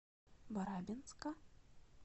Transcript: барабинска